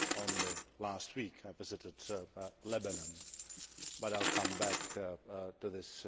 Only last week I visited Lebanon, but I will come back to that.